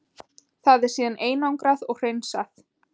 Það er síðan einangrað og hreinsað.